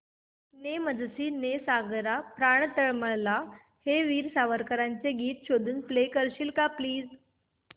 ने मजसी ने सागरा प्राण तळमळला हे वीर सावरकरांचे गीत शोधून प्ले करशील का प्लीज